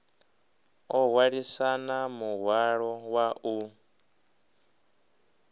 o hwalisana muhwalo wa u